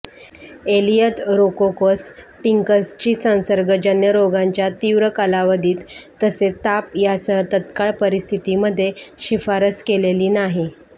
एलीयथरोकोकस टिंकर्सची संसर्गजन्य रोगांच्या तीव्र कालावधीत तसेच ताप यासह तात्काळ परिस्थितीमध्ये शिफारस केलेली नाही